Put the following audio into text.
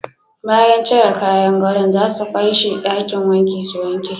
Bayan cire kayan godo'n za su kai she dakin wanki su wanke.